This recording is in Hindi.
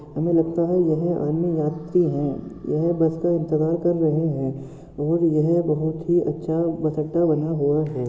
हमे लगता है यह अन्य यात्री है यह बस का इंतज़ार कर रहे है और यह बहुत ही अच्छा बस अड्डा बना हुआ है।